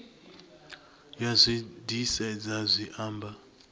ya zwi disedza zwi amba